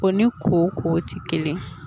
O ni koko tɛ kelen.